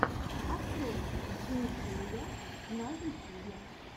открой ли кея на ютюбе